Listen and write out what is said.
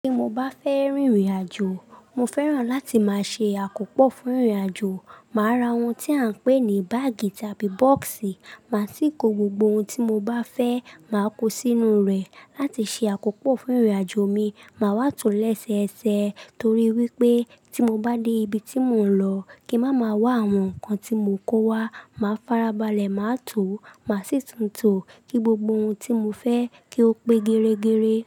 Tí mo bá fẹ́ rìnrìn àjò, mo fẹ́ràn láti máa ṣe àkópò fún ìrìn àjò. Màa ra ohun tí a ń pè ní báàgì tàbí bọ́ọ̀sì, màá sì kó gbogbo ohun tí mo bá fẹ́, màá kó sínú rẹ̀ láti ṣe àkópò fún ìrìn àjò mi. Màá wá tòó lẹ́sẹẹsẹ torí wípé tí mo bá dé ibi tí mò ń lọ kí má má wá àwọn nǹkan tí mò ń kó wá, màá farabalẹ̀, màá tòó, màá sì tun to kí gbogbo ohun tí mo fẹ́ kí ó pé geregere.